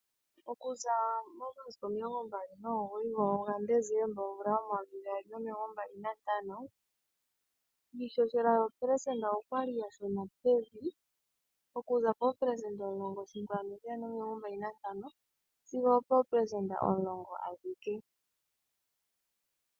Okuza momasiku 29 gaDesemba 2025 iihohela yoopelesenda okwa li yashuna pevi okuza 11.125 sigo poopelesenda 10.